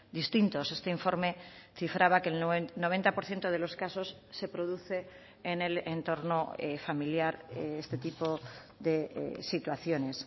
distintos este informe cifraba que el noventa por ciento de los casos se produce en el entorno familiar este tipo de situaciones